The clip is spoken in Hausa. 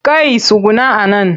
Kai tsuguna a nan!